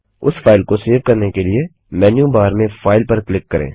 इस फाइल को सेव करने के लिए मेन्यू बार से फाइल पर क्लिक करें